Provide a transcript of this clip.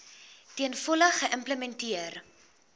ten volle geïmplementeer